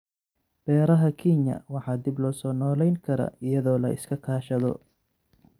Beeraha Kenya waxaa dib loo soo noolayn karaa iyadoo la iska kaashado.